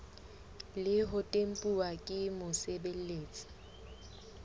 le ho tempuwa ke mosebeletsi